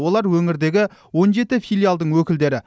олар өңірдегі он жеті филиалдың өкілдері